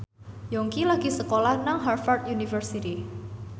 Yongki lagi sekolah nang Harvard university